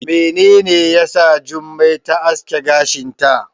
Menene yasa Jummai ta aske gashinta?